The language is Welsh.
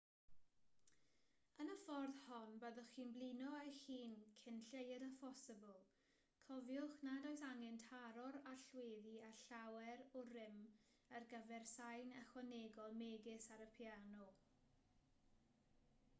yn y ffordd hon byddwch chi'n blino eich hun cyn lleied â phosibl cofiwch nad oes angen taro'r allweddi â llawer o rym ar gyfer sain ychwanegol megis ar y piano